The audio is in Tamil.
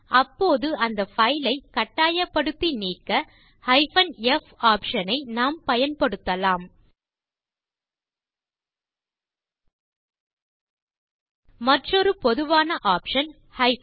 அப்போது அந்த பைல் ஐ கட்டாயப்படுத்தி நீக்க f ஆப்ஷன் ஐ நாம் பயன்படுத்தலாம் மற்றொரு பொதுவான ஆப்ஷன் r